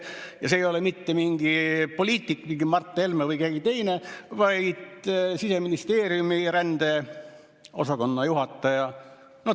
Ja see ei ole mitte mingi poliitik, mingi Mart Helme või keegi teine, vaid Siseministeeriumi rändepoliitika osakonna juhataja.